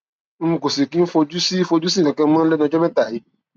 n kò sì kí ń fojú sí fojú sí nǹkan kan mọ lẹnu ọjọ mẹta yìí